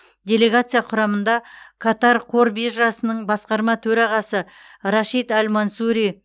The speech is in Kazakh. делегация құрамында катар қор биржасының басқарма төрағасы рашид әл мансури